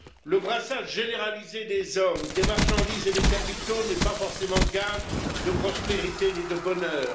Le brassage généralisé des hommes, des marchandises et des capitaux n'est pas forcément gage de prospérité ni de bonheur.